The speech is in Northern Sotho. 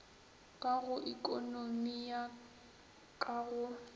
ka go ekonomi ka go